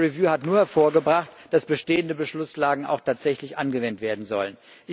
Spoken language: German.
Diese Überprüfung hat nur hervorgebracht, dass bestehende Beschlusslagen auch tatsächlich angewendet werden sollen.